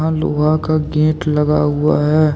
लोहा का गेट लगा हुआ है।